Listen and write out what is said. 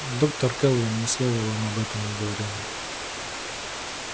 доктор кэлвин ни слова вам об этом не говорила